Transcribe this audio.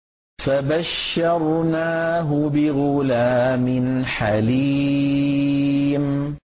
فَبَشَّرْنَاهُ بِغُلَامٍ حَلِيمٍ